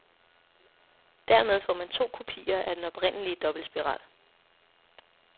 Dermed får man to kopier af den oprindelige dobbeltspiral.